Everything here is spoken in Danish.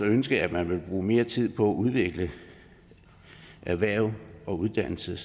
ønske at man ville bruge mere tid på at udvikle erhverv og uddannelse